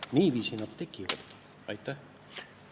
Niiviisi need prioriteedid tekivadki.